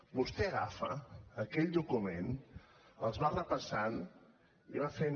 vostè agafa aquell document els va repassant i va fent